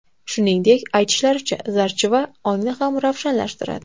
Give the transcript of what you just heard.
Shuningdek, aytishlaricha zarchiva ongni ham ravshanlashtiradi.